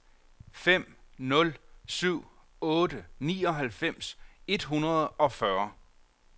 fem nul syv otte nioghalvfems et hundrede og fyrre